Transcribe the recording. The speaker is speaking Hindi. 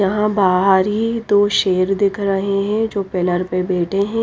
यहा बाहर ही दो शेर दिख रहे है जो पिलर पे बैठे है।